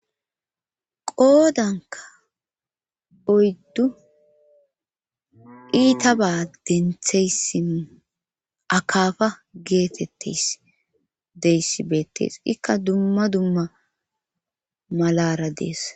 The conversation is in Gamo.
Qoodanka oyddu iita ba dentheyssin akaafa geetetteys deyssi beettees ikka dumma dumma malara dees